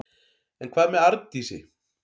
En hvað með Arndísi?